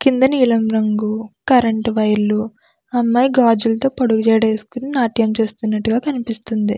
కింద నీలం రంగు కరెంట్ వైర్ లు అమ్మాయి గాజులతో పొడుగు జడ వేసుకుని నాట్యం చేస్తునట్టుగా కనిపిస్తుంది.